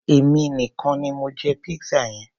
Èmi nìkan ni mo jẹ pizza yẹn.